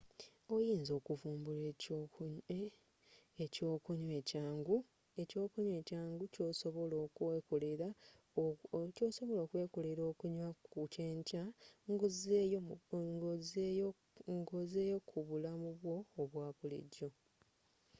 oyinza okuvumbula ekyokunywa ekyangu kyosobola okwekolela okunya ku kyenkya nga ozzeeyo ku bulamu bwo obwa bulijjo